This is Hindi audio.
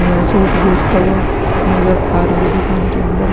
यह सूट बेचता हुआ नज़र आ रहा है दुकान के अंदर--